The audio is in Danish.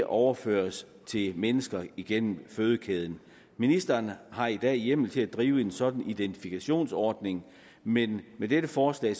overføres til mennesker igennem fødekæden ministeren har i dag hjemmel til at drive en sådan identifikationsordning men med dette forslag